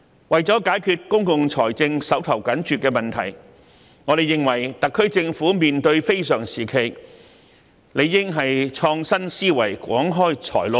為了解決公共財政緊絀的問題，我們認為特區政府際此非常時期，理應創新思維，廣開財路。